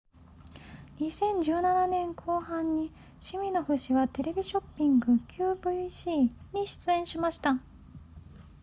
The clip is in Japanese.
2017年後半にシミノフ氏はテレビショッピング qvc に出演しました